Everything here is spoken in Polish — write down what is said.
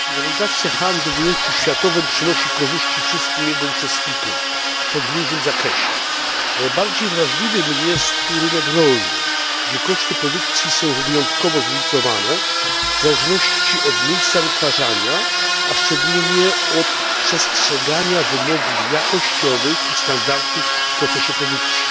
Panie Przewodniczący! Rywalizacja handlu w ujęciu światowym przynosi korzyści wszystkim jego uczestnikom, choć w różnym zakresie. Najbardziej wrażliwy jest tu rynek rolny, gdzie koszty produkcji są wyjątkowo zróżnicowane w zależności od miejsca wytwarzania, a szczególnie od przestrzegania wymogów jakościowych i standardów w procesie produkcji.